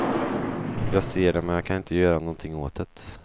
Jag ser det men kan inte göra någonting åt det.